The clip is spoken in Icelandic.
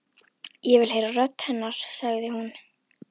Ég vil heyra rödd hennar, sagði hún.